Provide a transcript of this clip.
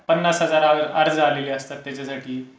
पन्नास हजार अर्ज आलेले असतात त्याच्यासाठी.